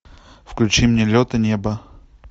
включи мне лед и небо